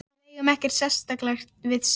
Við eigum ekkert sameiginlegt við Sif.